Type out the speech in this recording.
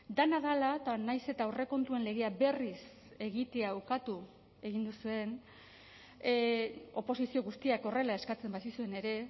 dena dela eta nahiz eta aurrekontuen legea berriz egitea ukatu egin duzuen oposizio guztiak horrela eskatzen bazizuen ere